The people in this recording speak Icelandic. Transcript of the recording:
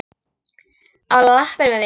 Á lappir með þig, maður!